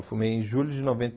Eu formei em julho de noventa